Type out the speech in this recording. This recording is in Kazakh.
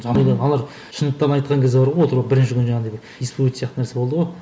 шындықтарын айтқан кезде бар ғой отырып алып бірінші күні жаңағындай бір исповед сияқты нәрсе болды ғой